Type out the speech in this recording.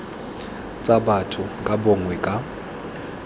tsa batho ka bongwe ka